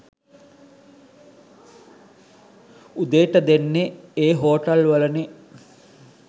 උදේට දෙන්නෙ." "ඒ හෝටල් වලනේ